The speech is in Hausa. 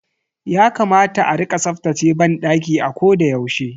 Yakamata a rika tsaftace banɗaki a koda yaushe.